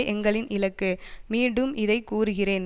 எங்களின் இலக்கு மீண்டும் இதை கூறுகிறேன்